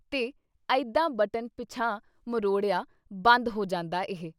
ਤੇ ਅਈਦਾਂ ਬਟਨ ਪਿਛਾਂ ਮਰੋੜਿਆਂ ਬੰਦ ਹੋ ਜਾਂਦਾ ਇਹ।